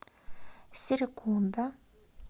серекунда